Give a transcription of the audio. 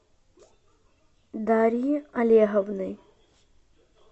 дарьи олеговны